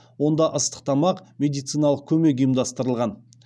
онда ыстық тамақ медициналық көмек ұйымдастырылған